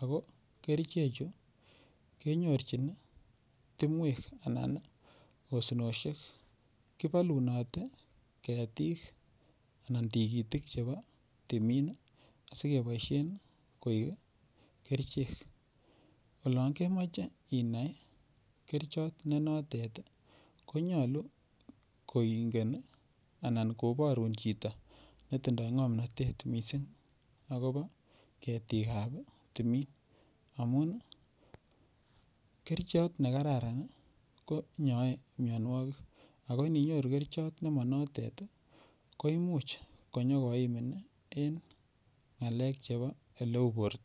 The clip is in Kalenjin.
ako kerichechu kenyorjin timwek anan osinosik kibolunoti ketik anan tikitik chebo timin asikeboishe koik kerichek olon kemoche inai kerichot ne notet konyulu koingen anan koborun chito netindoi ng'omnotet mising' akobo ketikab timin amu kerichot nekararan ko inyoei miyonwokik ako ninyoru kerichot nemanotet ko imuch konyikoimin en ng'alek chebo oleu borto